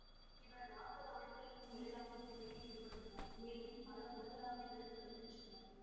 இவர் நாற்பது ஆண்டுகளுக்கும் மேலாக இத்துறையில் ஈடுபட்டுள்ளார் மேலும் பல உலகளாவிய விருதுகளும் பெற்றுள்ளார்